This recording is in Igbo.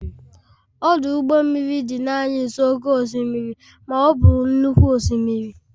ọdụ ụgbọ mmiri dị naanị nso oke osimiri, ma ọ bụ nnukwu osimiri